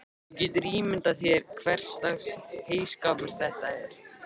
Þú getur ímyndað þér hverslags heyskapur þetta er.